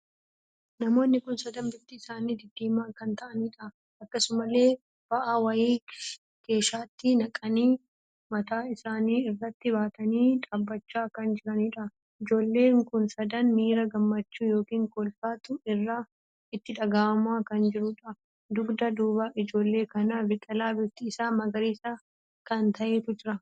Namoonni kun sadan bifti isaanii diddiimoo kan ta'anidha. akkasumallee baa'aa wayii keeshaatti naqanii mataa isaanii irratti baatanii dhaabbachaa kan jiraniidha. ijoollee kun sadan miira gammachuu ykn kolfaatu itti dhaga'amaa kan jirudha. dugda duuba ijoollee kana biqilaa bifti isaa magariisa kan taheetu jira.